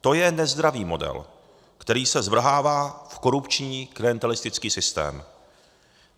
To je nezdravý model, který se zvrhává v korupční klientelistický systém.